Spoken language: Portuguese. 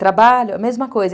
Trabalho, a mesma coisa.